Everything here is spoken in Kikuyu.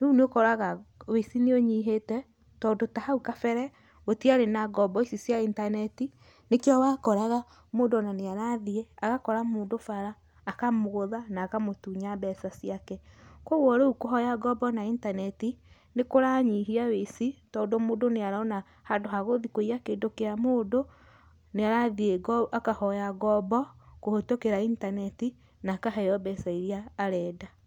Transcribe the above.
Rĩu nĩ ũkoraga ũici nĩ ũnyihĩte tondũ ta hau kabere gũtiarĩ na ngombo ici cia intaneti nĩkĩo wakoraga mũndũ ona nĩ arathiĩ agakora mũndũ bara akamũgũtha na akamũtunya mbeca ciake. Koguo rĩu kũhoya ngombo na intaneti nĩ kũranyihia ũici tondũ mũndũ nĩ arona handũ ha gũthi kũiya kĩndũ kĩa mũndũ nĩ arathiĩ akahoya ngombo kũhĩtũkĩra intaneti na akaheo mbeca iria arenda.